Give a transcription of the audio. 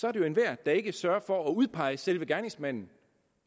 er det jo enhver der ikke sørger for at udpege selve gerningsmanden